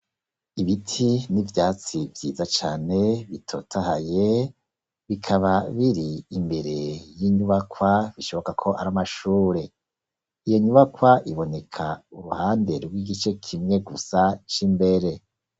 Ibiti n'ivyatsi vyiza cane, bitotahaye, bikaba biri imbere y'inyubakwa, bishoboka ko ari amashure; iyo nyubakwa, iboneka uruhande rw'igice kimwe gusa c'imbere.